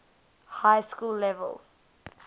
high school level